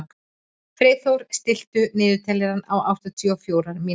Freyþór, stilltu niðurteljara á áttatíu og fjórar mínútur.